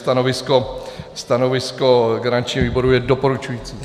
Stanovisko garanční výboru je doporučující.